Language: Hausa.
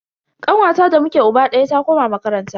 Kanwata da muke uba daya ta koma makaranta.